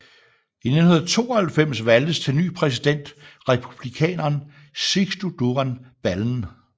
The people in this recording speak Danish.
I 1992 valgtes til ny præsident republikaneren Sixto Duran Ballen